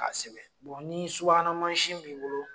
'A sɛbɛn bɔn ni subahana mansin b'i bolo